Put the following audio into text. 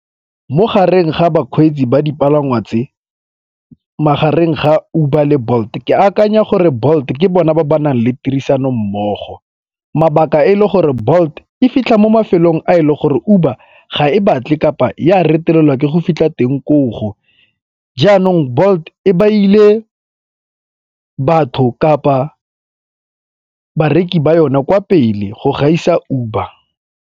Mogareng ga bakgweetsi ba dipalangwa tse, magareng ga Uber le Bolt ke akanya gore Bolt ke bona ba ba nang le tirisanommogo. Mabaka e le gore Bolt e fitlha mo mafelong a e le gore Uber ga e batle kapa e a retelelwa ke go fitlha teng koo. Jaanong Bolt e beile batho kapa bareki ba yona kwa pele go gaisa Uber.